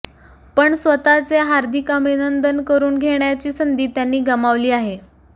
पण स्वतःचे हार्दिक अभिनंदन करुन घेण्याची संधी त्यांनी गमावली आहे